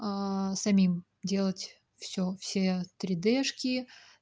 а самим делать всё все тридэшки